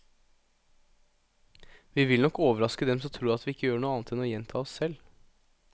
Vi vil nok overraske dem som tror at vi ikke gjør annet enn å gjenta oss selv.